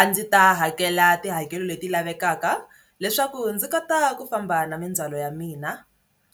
A ndzi ta hakela tihakelo leti lavekaka leswaku ndzi kota ku famba na mindzhwalo ya mina